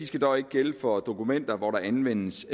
skal dog ikke gælde for dokumenter hvor der anvendes